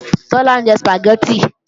Tọ́lá ń jẹ Sùpàgẹ́tì